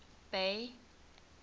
bay